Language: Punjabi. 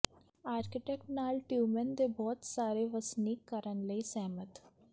ਆਰਕੀਟੈਕਟ ਨਾਲ ਟਿਯੂਮੇਨ ਦੇ ਬਹੁਤ ਸਾਰੇ ਵਸਨੀਕ ਕਰਨ ਲਈ ਸਹਿਮਤ